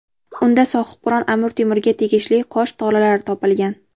Unda Sohibqiron Amir Temurga tegishli qosh tolalari topilgan.